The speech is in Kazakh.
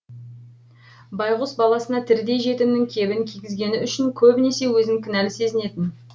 байғұс баласына тірідей жетімнің кебін кигізгені үшін көбінесе өзін кінәлі сезінетін